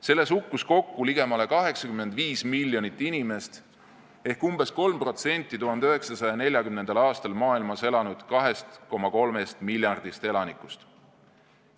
Selles hukkus kokku ligemale 85 miljonit inimest ehk umbes 3% 1940. aastal maailmas elanud 2,3 miljardist elanikust.